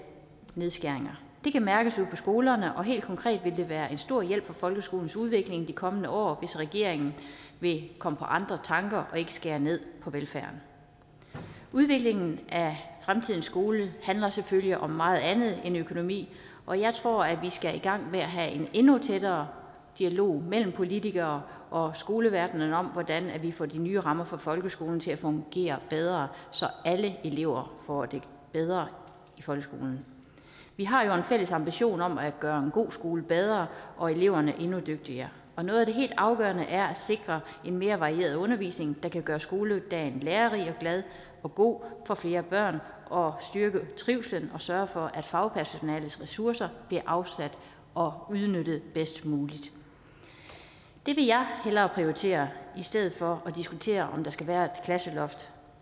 nedskæringer det kan mærkes ude på skolerne og helt konkret vil det være en stor hjælp for folkeskolens udvikling i de kommende år hvis regeringen vil komme på andre tanker og ikke skære ned på velfærden udviklingen af fremtidens skole handler selvfølgelig om meget andet end økonomi og jeg tror at vi skal i gang med at have en endnu tættere dialog mellem politikere og skoleverden om hvordan vi får de nye rammer for folkeskolen til at fungere bedre så alle elever får det bedre i folkeskolen vi har jo en fælles ambition om at gøre god skole bedre og eleverne endnu dygtigere og noget af det helt afgørende er at sikre en mere varieret undervisning der kan gøre skoledagen lærerig og glad og god for flere børn og styrke trivslen og sørge for at fagpersonalets ressourcer bliver afsat og udnyttet bedst muligt det vil jeg hellere prioritere i stedet for at diskutere om der skal være et klasseloft